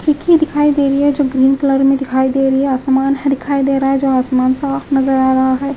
खिड़की दिखाई दे री है जो ग्रीन कलर में दिखाई दे री है आसमान है दिखाई दे रा है जो आसमान साफ नजर आ रा है।